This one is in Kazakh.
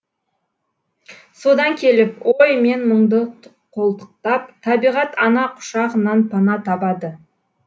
содан келіп ой мен мұңды қолтықтап табиғат ана құшағынан пана табады